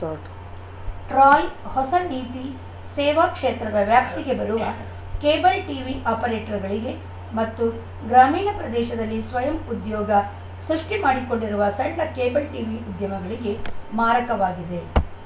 start TRAI ಹೊಸ ನೀತಿ ಸೇವಾ ಕ್ಷೇತ್ರದ ವ್ಯಾಪ್ತಿಗೆ ಬರುವ ಕೇಬಲ್‌ ಟೀವಿ ಆಪರೇಟರ್‌ಗಳಿಗೆ ಮತ್ತು ಗ್ರಾಮೀಣ ಪ್ರದೇಶದಲ್ಲಿ ಸ್ವಯಂ ಉದ್ಯೋಗ ಸೃಷ್ಟಿಮಾಡಿಕೊಂಡಿರುವ ಸಣ್ಣ ಕೇಬಲ್‌ ಟೀವಿ ಉದ್ಯಮಿಗಳಿಗೆ ಮಾರಕವಾಗಿದೆ